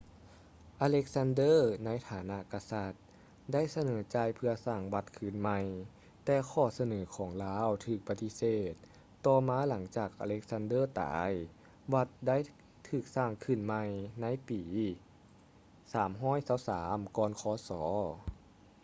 alexander ໃນຖານະກະສັດ ໄດ້ສະເໜີຈ່າຍເພື່ອສ້າງວັດຄືນໃໝ່ ແຕ່ຂໍ້ສະເໜີຂອງລາວຖືກປະຕິເສດ ຕໍ່ມາຫລັງຈາກ alexander ຕາຍ ວັດໄດ້ຖືກສ້າງຂຶ້ນໃໝ່ ໃນປີ 323 ກ່ອນ ຄສ